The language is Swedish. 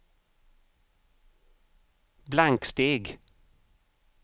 blanksteg